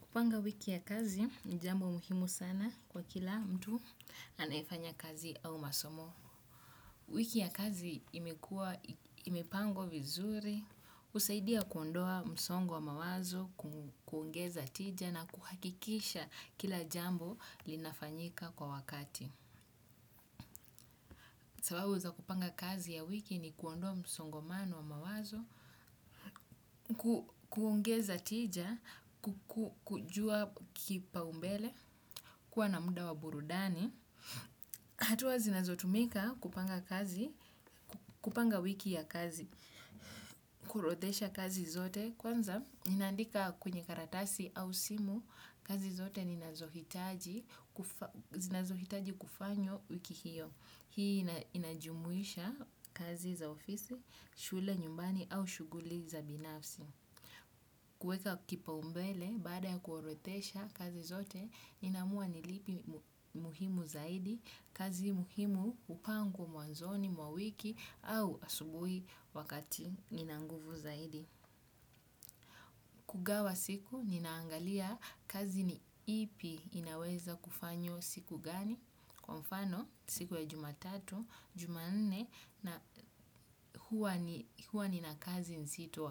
Kupanga wiki ya kazi ni jambo muhimu kwa kila mtu anayefanya kazi au masomo wiki ya kazi imepangwa vizuri husaidia kuondoa msongo wa mawazo kuongeza tija na kuhakikisha kila jambo linafanyika kwa wakati. Sababu za kupanga kazi ya wiki ni kuondoa msongomano wa mawazo, kuongeza tija, kujua kipaumbele, kuwa na muda wa burudani. Hatua zinazotumika kupanga kazi, kupanga wiki ya kazi, kuorodhesha kazi zote. Kwanza, ninandika kwenye karatasi au simu, kazi zote zinazohitaji kufanywa wiki hiyo. Hii inajumuisha kazi za ofisi, shule nyumbani au shughuli za binafsi. Kueka kipaumbele, baada ya kuorodhesha kazi zote, ninaamua ni lipi muhimu zaidi, kazi muhimu hupangwa mwanzoni, mwa wiki, au asubuhi wakati nina nguvu zaidi. Kugawa siku, ninaangalia kazi ni ipi inaweza kufanywa siku gani. Kwa mfano, siku ya jumatatu, jumanne, huwa nina kazi nzito